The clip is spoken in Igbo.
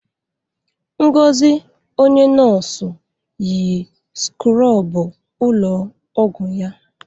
Ngozi, onye nọọsụ, yi skrọbụ ụlọ ọgwụ ya.